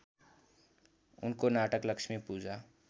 उनको नाटक लक्ष्मीपूजा